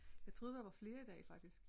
Jeg troede der var flere i dag faktisk